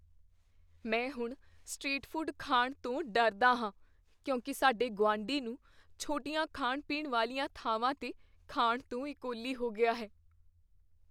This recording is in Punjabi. ਮੈਂ ਹੁਣ ਸਟ੍ਰੀਟ ਫੂਡ ਖਾਣ ਤੋਂ ਡਰਦਾ ਹਾਂ ਕਿਉਂਕਿ ਸਾਡੇ ਗੁਆਂਢੀ ਨੂੰ ਛੋਟੀਆਂ ਖਾਣ ਪੀਣ ਵਾਲੀਆਂ ਥਾਵਾਂ 'ਤੇ ਖਾਣ ਤੋਂ ਈਕੋਲੀ ਹੋ ਗਿਆ ਹੈ